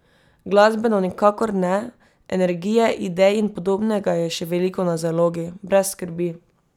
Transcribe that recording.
Glasbeno nikakor ne, energije, idej in podobnega je še veliko na zalogi, brez skrbi!